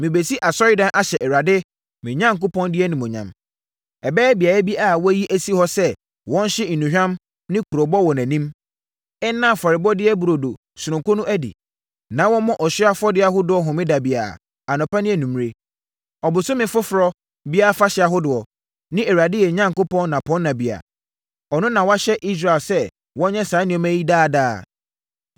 Merebɛsi Asɔredan ahyɛ Awurade, me Onyankopɔn din animuonyam. Ɛbɛyɛ beaeɛ bi a wɔayi asi hɔ sɛ wɔnhye nnuhwam ne kurobo wɔ nʼanim, nna afɔrebɔdeɛ burodo sononko no adi, na wɔmmɔ ɔhyeɛ afɔdeɛ ahodoɔ homeda biara, anɔpa ne anwummerɛ, Ɔbosome Foforɔ biara afahyɛ ahodoɔ ne Awurade yɛn Onyankopɔn nnapɔnna biara. Ɔno na wahyɛ Israel sɛ wɔnyɛ saa nneɛma yi daa daa.